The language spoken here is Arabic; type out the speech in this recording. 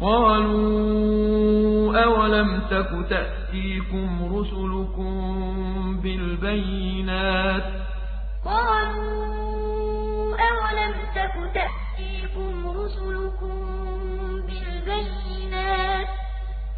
قَالُوا أَوَلَمْ تَكُ تَأْتِيكُمْ رُسُلُكُم بِالْبَيِّنَاتِ ۖ